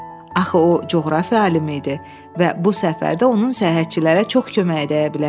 Axı o coğrafiya alimi idi və bu səfərdə onun səyahətçilərə çox köməyi dəyə bilərdi.